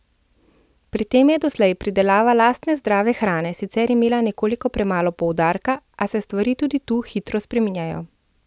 Pri tem je doslej pridelava lastne zdrave hrane sicer imela nekoliko premalo poudarka, a se stvari tudi tu hitro spreminjajo.